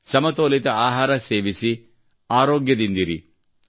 ಸಮತೋಲಿತ ಆಹಾರ ಸೇವಿಸಿ ಮತ್ತು ಆರೋಗ್ಯದಿಂದಿರಿ